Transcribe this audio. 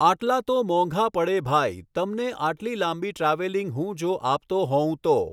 આટલા તો મોંઘા પડે ભાઈ તમને આટલી લાંબી ટ્રાવેલિંંગ હું જો આપતો હોઉં તો